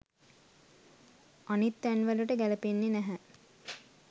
අනිත් තැන් වලට ගැලපෙන්නේ නැහැ.